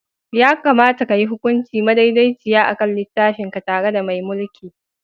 Ya kamata ka yi hukunci madaidaiciya a kan littafinka tare da mai mulki.